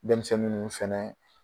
Denmisɛnnin minnu fɛnɛ